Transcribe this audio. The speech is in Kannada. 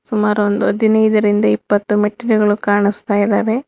ಸುಮಾರು ಒಂದು ಹದಿನೈದರಿಂದ ಇಪ್ಪತ್ತು ಮೆಟ್ಟಿಲುಗಳು ಕಾಣಿಸ್ತಾ ಇದಾವೆ.